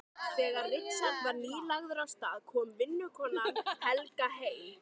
Þegar Richard var nýlagður af stað kom vinnukonan Helga heim.